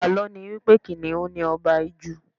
Àlọ́ ni wípé Kìnnìún ni Ọba Ijù.